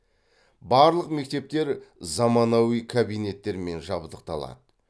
барлық мектептер заманауи кабинеттермен жабдықталады